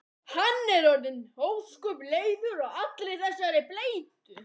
Hann er orðinn ósköp leiður á allri þessari bleytu.